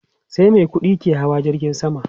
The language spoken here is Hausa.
Sai mai kudi ne ke hawa jirgin sama